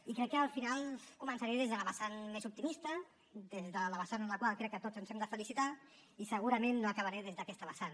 i crec que al final començaré des de la vessant més optimista des de la vessant en la qual crec que tots ens hem de felicitar i segurament no acabaré des d’aquesta vessant